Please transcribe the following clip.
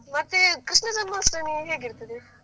ಮತ್ತೆ ಕೃಷ್ಣ ಜನ್ಮಾಷ್ಟಮಿ ಹೇಗಿರ್ತದೆ?